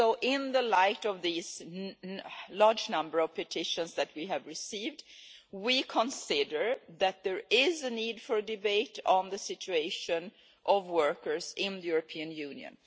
In the light of this large number of petitions that we have received, we consider there is a need for a debate on the situation of workers in the European Union.